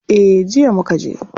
Eh, jiya mukaje.